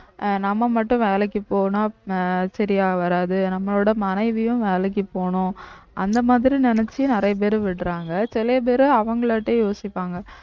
அஹ் நம்ம மட்டும் வேலைக்கு போனா அஹ் சரியா வராது நம்மளோட மனைவியும் வேலைக்கு போணும் அந்த மாதிரி நினைச்சு நிறைய பேர் விடறாங்க சில பேரு அவங்களாட்டயே யோசிப்பாங்க